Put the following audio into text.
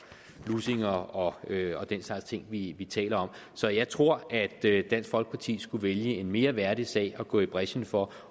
lussinger og den slags ting vi vi taler om så jeg tror at dansk folkeparti skulle vælge en mere værdig sag at gå i brechen for